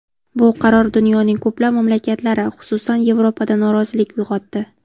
Bu qaror dunyoning ko‘plab mamlakatlari, xususan, Yevropada norozilik uyg‘otdi.